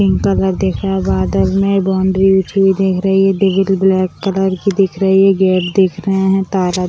pink colour दिख रहा है बादल में बाउंड्री उठी हुई दिख रही हैग्रिल ब्लैक कलर की दिख रही है गेट दिख रहे हैं तारा --